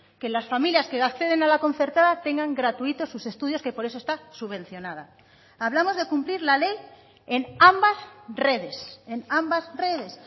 que las familias que acceden a la concertada tengan gratuitos sus estudios que por eso está subvencionada hablamos de cumplir la ley en ambas redes en ambas redes